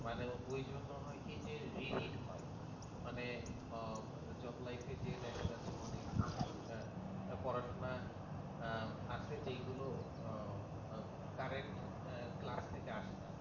মানে ওই জন্য হয় কি যে re read হয় মানে job life যেয়ে দেখা যাচ্ছে অনেক পড়াশুনা আছে যেগুলো current class থেকে আসে না